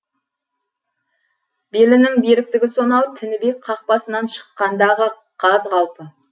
белінің беріктігі сонау тінібек қақпасынан шыққандағы қаз қалпы